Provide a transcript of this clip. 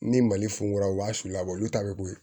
Ni mali funu la u b'a su labɔ olu ta be bɔ yen